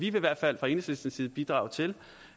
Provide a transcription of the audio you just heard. i hvert fald fra enhedslistens side bidrage til